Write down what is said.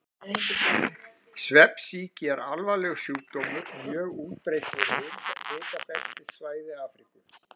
Svefnsýki er alvarlegur sjúkdómur, mjög útbreiddur á hitabeltissvæði Afríku.